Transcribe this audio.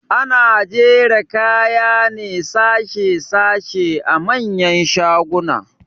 Ana jera kaya ne sashe sashe a manyan shaguna